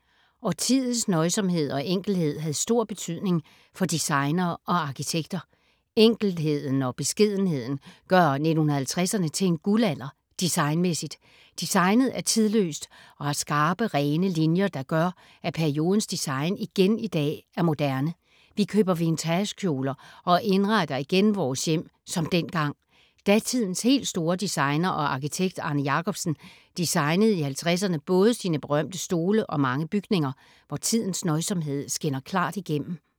Årtiets nøjsomhed og enkelhed havde stor betydning for designere og arkitekter. Enkelheden og beskedenheden gør 1950’erne til en guldalder designmæssigt. Designet er tidløst og har skarpe rene linjer, der gør, at periodens design igen i dag er moderne. Vi køber vintagekjoler og indretter igen vores hjem som dengang. Datidens helt store designer og arkitekt Arne Jacobsen designede i 50’erne både sine berømte stole og mange bygninger, hvor tidens nøjsomhed skinner klart igennem.